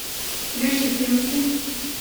плющихинский